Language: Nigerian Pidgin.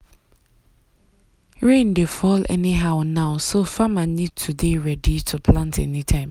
rain dey fall anyhow now so farmer need to ready to plant anytime.